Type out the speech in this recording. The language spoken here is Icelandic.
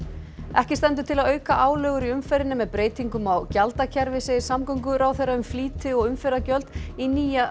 ekki stendur til að auka álögur í umferðinni með breytingum á gjaldakerfi segir samgönguráðherra um flýti og umferðargjöld í nýja